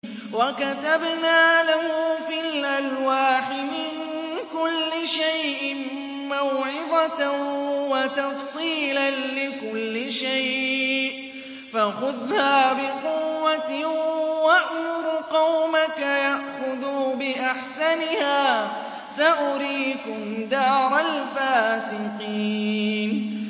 وَكَتَبْنَا لَهُ فِي الْأَلْوَاحِ مِن كُلِّ شَيْءٍ مَّوْعِظَةً وَتَفْصِيلًا لِّكُلِّ شَيْءٍ فَخُذْهَا بِقُوَّةٍ وَأْمُرْ قَوْمَكَ يَأْخُذُوا بِأَحْسَنِهَا ۚ سَأُرِيكُمْ دَارَ الْفَاسِقِينَ